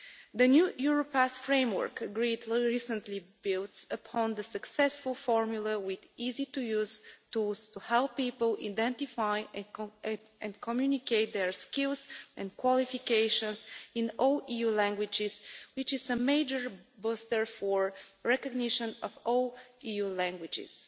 The new Europass Framework, agreed recently, builds on the successful formula with easy-to-use tools to help people identify and communicate their skills and qualifications in all EU languages, which is a major boost for the recognition of all EU languages.